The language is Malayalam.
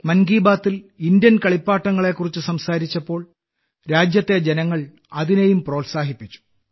മൻ കി ബാത്തിൽ ഇന്ത്യൻ കളിപ്പാട്ടങ്ങളെക്കുറിച്ച് സംസാരിച്ചപ്പോൾ രാജ്യത്തെ ജനങ്ങൾ അതിനെയും പ്രോത്സാഹിപ്പിച്ചു